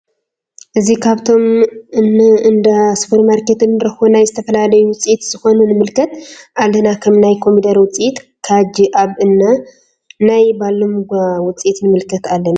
እዚ ካብቶም አን እንዳ ስፖርማርኬት እንረክቦ ናይ ዝተፈላለዩ ውፅኢት ዝኮኑ ንምልከት አለና ከም ናይ ኮሜደረ ውፅኢት ካጅ አብ እና ናይ ባሎምጋ ውፅኢት ንምልከት አለና::